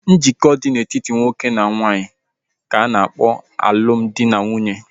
Njikọ dị na-etiti nwoke na nwaanyị ka a na-akpọ alụmdi na nwunye